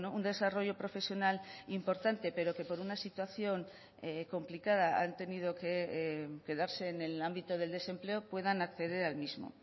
un desarrollo profesional importante pero que por una situación complicada han tenido que quedarse en el ámbito del desempleo puedan acceder al mismo